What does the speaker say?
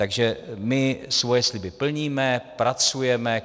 Takže my svoje sliby plníme, pracujeme.